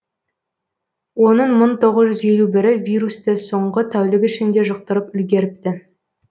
оның мың тоғыз жүз елу бірі вирусты соңғы тәулік ішінде жұқтырып үлгеріпті